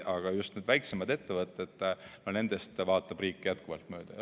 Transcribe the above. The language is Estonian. Aga just need väiksemad ettevõtted, no nendest vaatab riik jätkuvalt mööda.